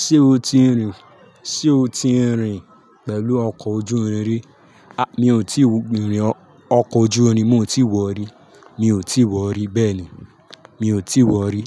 Ṣé o ti rìn? Sé o ti rìn pẹ̀lú ọkọ̀ ojú irin? Mi ò tíì rin ni ọkọ̀ ojú irin, mi ò tí ì wọ̀ rí, mi ò tí wọ̀ rí bẹ́ẹ̀ ni, mi ò tí wọ̀ rí.